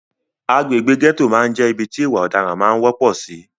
Agbègbè gẹ́tò máà ń jẹ́ ibi tí ìwà ọ̀daran máà ń wọ́pọ̀ sì.